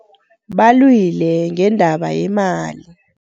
Balwile ngendaba yemali.